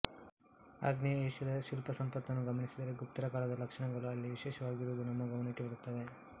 ಆಗ್ನೇಯ ಏಷ್ಯದ ಶಿಲ್ಪಸಂಪತ್ತನ್ನು ಗಮನಿಸಿದರೆ ಗುಪ್ತರ ಕಾಲದ ಲಕ್ಷಣಗಳು ಅಲ್ಲಿ ವಿಶೇಷವಾಗಿರುವುದು ನಮ್ಮ ಗಮನಕ್ಕೆ ಬರುತ್ತವೆ